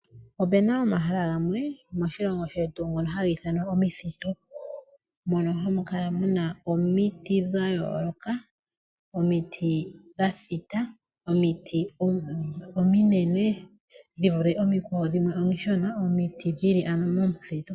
Opena omahala gamwe moshilongo shetu haga ithanwa omithitu mono hamukala muna omiti dhayooloka, omiti dhathita, omiti ominene dhivule omikwa wo dhimwe omishona ano dhili momuthitu.